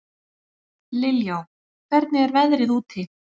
Liljá, hvernig er veðrið úti?